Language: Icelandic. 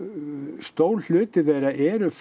stór hluti þeirra eru